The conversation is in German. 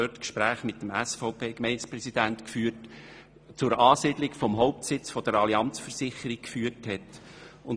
Dies weiss ich aus eigener Anschauung, weil ich Gespräche mit dem dortigen SVP-Präsidenten geführt habe.